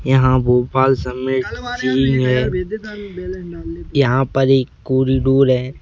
यहाँ भोपाल सब में चीज है यहाँ पर एक कोरीडोर है।